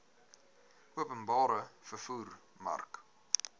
openbare vervoer mark